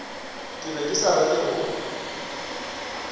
ke be ke rata go